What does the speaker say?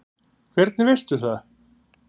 Hvernig veistu það?